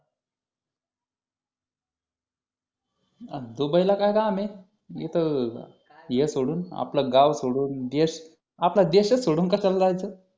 आणि दुबईला काय काम आहे तिथं हे सोडून आपलं गाव सोडून देश आपला देश सोडून कशाला जायचं